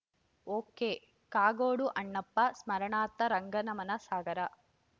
ಒಕೆಕಾಗೋಡು ಅಣ್ಣಪ್ಪ ಸ್ಮರಣಾರ್ಥ ರಂಗನಮನ ಸಾಗರ